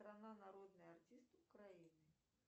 страна народный артист украины